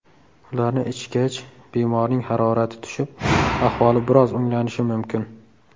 Ularni ichgach, bemorning harorati tushib, ahvoli biroz o‘nglanishi mumkin.